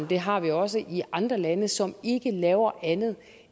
det har vi også i andre lande som ikke laver andet